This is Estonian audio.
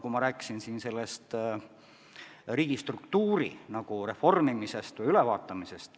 Ma rääkisin siin riigistruktuuri reformimisest või ülevaatamisest.